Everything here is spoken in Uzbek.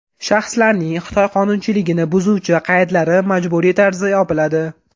Shaxslarning Xitoy qonunchiligini buzuvchi qaydlari majburiy tarzda yopiladi.